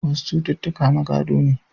Wasu cututtuka na gado ne.